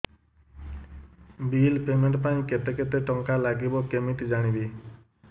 bill payment ପାଇଁ କେତେ କେତେ ଟଙ୍କା ଲାଗିବ କେମିତି ଜାଣିବି